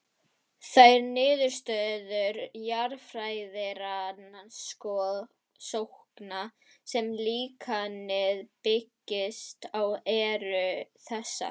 Þær niðurstöður jarðfræðirannsókna sem líkanið byggist á eru þessar